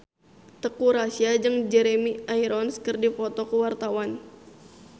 Teuku Rassya jeung Jeremy Irons keur dipoto ku wartawan